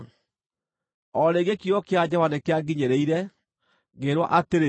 O rĩngĩ kiugo kĩa Jehova nĩkĩanginyĩrĩire, ngĩĩrwo atĩrĩ: